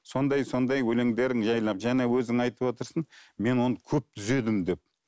сондай сондай өлеңдерің жайлап жаңа өзің айтып отырсың мен оны көп түзедім деп